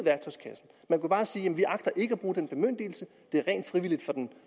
af bare sige vi agter ikke at bruge den bemyndigelse det er rent frivilligt for den